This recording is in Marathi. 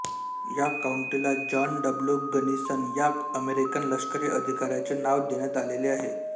या काउंटीला जॉन डब्ल्यू गनिसन या अमेरिकन लश्करी अधिकाऱ्याचे नाव देण्यात आलेले आहे